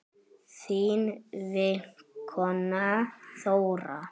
Þín vinkona Þóra.